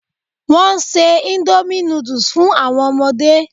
Wọ́n se indomie noodles fun àwọn ọmọdé